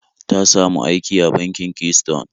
Ta samu aiki a bankin Keystone